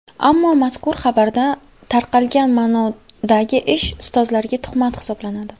Ammo mazkur xabarda tarqagan ma’nodagi ish ustozlarga tuhmat hisoblanadi.